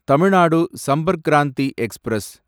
Tamil Nadu Sampark Kranti express